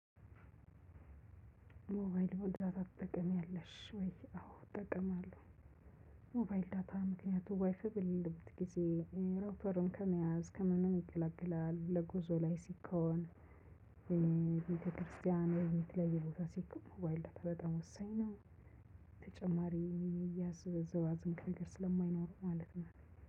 ሞባይል ዳታ ትጠቀሜያለሽ ወይ? አዎ እጠቀማለሁ ሞባይል ዳታ ምክንያቱም ዋይፋይ በሌለበት ጊዜ ሮፐርን ከመያዝ ከምንም ይገላግላል ለጉዞ ላይ ሲኮን ቤተክርስቲያን ቤት ላይ በየቦታ ሲኮን ዋይልድ በጣም ወሳኝ ነው። ተጨማሪ እያዝ ዝባዝንኬ ነገር ስለማይኖር ማለት ነው።